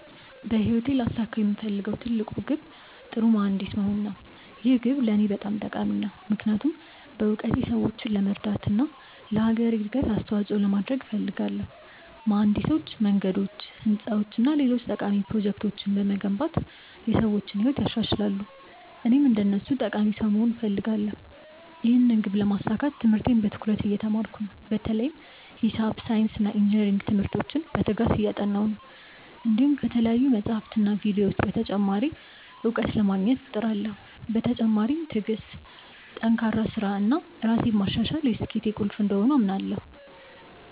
በህይወቴ ላሳካው የምፈልገው ትልቅ ግብ ጥሩ መሀንዲስ መሆን ነው። ይህ ግብ ለእኔ በጣም ጠቃሚ ነው፣ ምክንያቱም በእውቀቴ ሰዎችን ለመርዳት እና ለአገሬ እድገት አስተዋፅኦ ለማድረግ እፈልጋለሁ። መሀንዲሶች መንገዶች፣ ህንፃዎች እና ሌሎች ጠቃሚ ፕሮጀክቶችን በመገንባት የሰዎችን ህይወት ያሻሽላሉ፣ እኔም እንደነሱ ጠቃሚ ሰው መሆን እፈልጋለሁ። ይህን ግብ ለማሳካት ትምህርቴን በትኩረት እየተማርኩ ነው፣ በተለይም ሂሳብ፣ ሳይንስ እና ኢንጅነሪንግ ትምህርቶችን በትጋት እያጠናሁ ነው። እንዲሁም ከተለያዩ መጻሕፍትና ቪዲዮዎች ተጨማሪ እውቀት ለማግኘት እሞክራለሁ። በተጨማሪም ትዕግሥት፣ ጠንካራ ሥራ እና ራሴን ማሻሻል የስኬቴ ቁልፍ እንደሆኑ አምናለሁ።